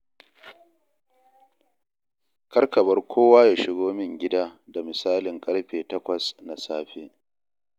Kar ka bar kowa ya shigo min gida da misalin ƙarfe takwas na safe.